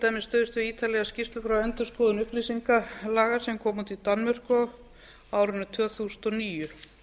dæmis stuðst við ítarlega skýrslu frá endurskoðun upplýsingalaga sem komu út í danmörku á árinu tvö þúsund og níu